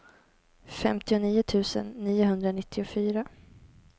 femtionio tusen niohundranittiofyra